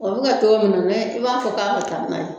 O bɛ kɛ cɔgɔ min dɛ i b'a fɔ k'a ka taa n'a ye